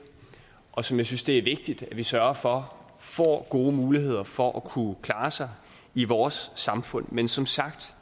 og som jeg synes det er vigtigt at vi sørger for får gode muligheder for at kunne klare sig i vores samfund men som sagt